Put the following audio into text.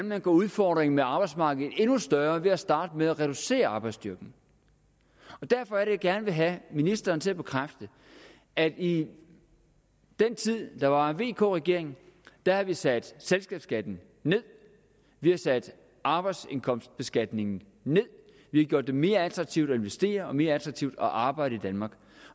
man gør udfordringen med arbejdsmarkedet endnu større ved at starte med at reducere arbejdsstyrken derfor er det jeg gerne vil have ministeren til at bekræfte at i den tid der var en vk regering har vi sat selskabsskatten ned vi har sat arbejdsindkomstbeskatningen ned vi har gjort det mere attraktivt at investere og mere attraktivt at arbejde i danmark